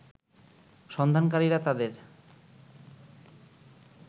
সন্ধানকারীরা তাদের